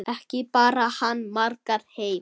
Ekki bar hann margar heim.